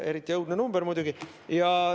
Eriti õudne number muidugi.